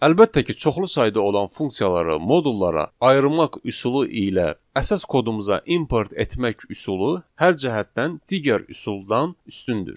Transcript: Əlbəttə ki, çoxlu sayda olan funksiyaları modullara ayırmaq üsulu ilə əsas kodumuza import etmək üsulu hər cəhətdən digər üsuldan üstündür.